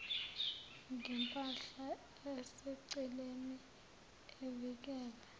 ngempahla eseceleni evikela